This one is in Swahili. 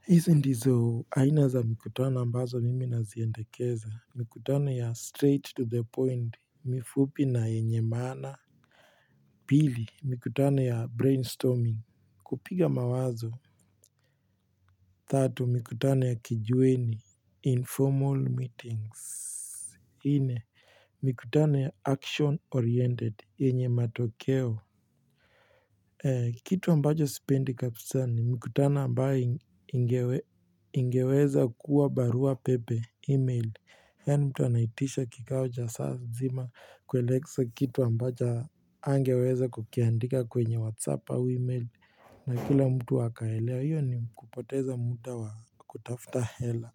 Hizi ndizo aina za mikutano ambazo mimi naziendekeza. Mikutano ya straight to the point mifupi na yenye maana pili mikutano ya brainstorming kupiga mawazo tatu mikutano ya kijiweni, informal meetings. Nne, mikutano ya action-oriented, yenye matokeo. Kitu ambacho sipendi kabisani, mikutano ambayo ingeweza kuwa barua pepe, email. Yaani mtu anaitisha kikaocha saa nzima kueleza kitu ambacho hangeweza kukiandika kwenye whatsapp au email. Na kila mtu akaelewa hiyo ni kupoteza muda wa kutafuta hela.